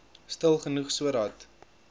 stil genoeg sodat